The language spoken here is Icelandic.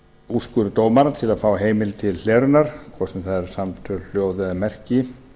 úrskurð dómara til að fá heimild til hlerunar hvort sem það eru samtöl hljóð eða merki